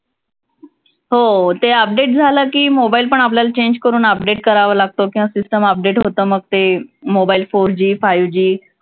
हो ते update झालं की mobile पण आपल्याला change करून update करावा लागतो किंवा system update होतं मग ते mobile four G, five G